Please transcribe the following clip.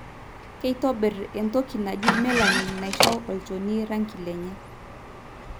kitobir entoki naaji melanin naisho olchoni orangi lenye.